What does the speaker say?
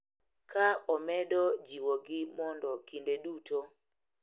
Ka omedo jiwogi mondo kinde duto,